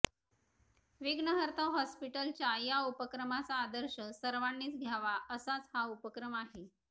विघ्नहर्ता हॉस्पिटलच्या या उपक्रमाचा आदर्श सर्वांनीच घ्यावा असाच हा उपक्रम आहे